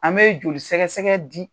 An bɛ joli sɛgɛsɛgɛ di